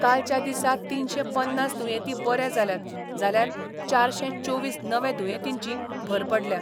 कालच्या दिसा तीनशे पन्नास दुयेंती बरे जाल्यात, जाल्यार चारशे चोवीस नवे दुयेंतींची भर पडल्या.